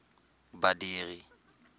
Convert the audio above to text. badiri